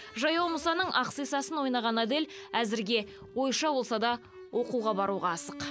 жаяу мұсаның ақсисасын ойнаған адель әзірге ойша болса да оқуға баруға асық